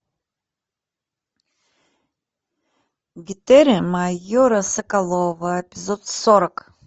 гетеры майора соколова эпизод сорок